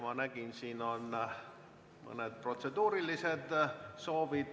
Ma nägin, siin on mõned protseduurilised soovid.